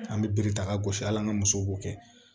An bɛ bere ta ka gosi hali an ka musow b'o kɛ